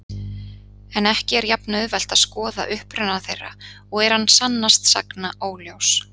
En ekki er jafn-auðvelt að skoða uppruna þeirra og er hann sannast sagna óljós.